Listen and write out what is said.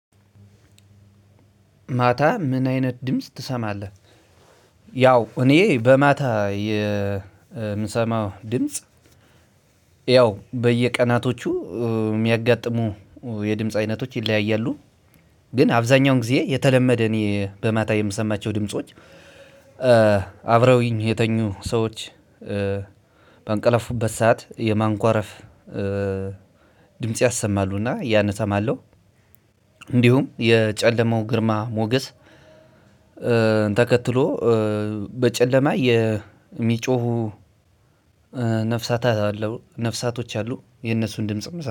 ማታ ምን አይነት ድምጽ ትሰማለህ? ያው እኔ ማታ የምሰማው ድምጽ። ያው በየቀናቶቹ የሚያጋጥሙ የድምጽ አይነቶች ይለያያሉ። ግን አብዛኛውን ጊዜ የተለመደ እኔ በማታ የምሰማቸው ድምጾች። አብረውኝ የተኙ ሰዎች በአንቀለፉበት ሰዓት የማንኳረፍ። ድምጽ ያሰማሉና ያን እሰማለሁ። እንዲሁም የጨለማው ግርማ ሞገስ። ተከትሎ በጨለማ የሚጮሁ ነፍሳቶች አሉ። የነሱን ድምጽም